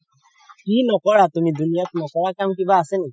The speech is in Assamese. কি নকৰা তুমি দুনীয়া কিবা নকৰা কাম কিবা আছে নেকি?